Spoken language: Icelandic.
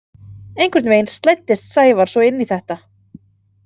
Einhvern veginn slæddist Sævar svo inn í þetta.